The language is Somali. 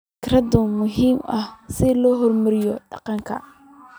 Fikradaha muhiimka ah si loo horumariyo dhaqanka